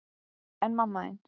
En mamma þín?